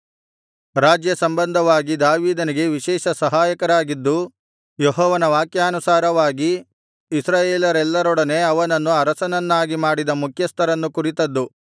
ರಾಜ್ಯಸಂಬಂಧವಾಗಿ ದಾವೀದನಿಗೆ ವಿಶೇಷ ಸಹಾಯಕರಾಗಿದ್ದು ಯೆಹೋವನ ವಾಕ್ಯಾನುಸಾರವಾಗಿ ಇಸ್ರಾಯೇಲರೆಲ್ಲರೊಡನೆ ಅವನನ್ನು ಅರಸನನ್ನಾಗಿ ಮಾಡಿದ ಮುಖ್ಯಸ್ಥರನ್ನು ಕುರಿತದ್ದು